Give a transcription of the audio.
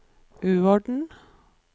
uorden